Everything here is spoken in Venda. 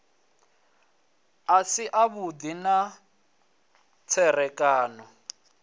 a si avhudi na tserekano